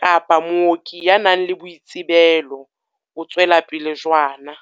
kapa mooki ya nang le boitsebelo," o tswela pele jwana.